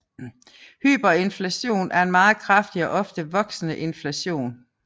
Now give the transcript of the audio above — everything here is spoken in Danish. Hyperinflation er meget kraftig og ofte voksende inflation